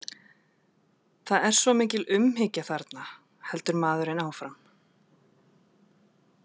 það er svo mikil umhyggja þarna, heldur maðurinn áfram.